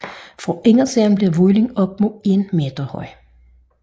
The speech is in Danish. Fra indersiden bliver volden op mod 1 meter høj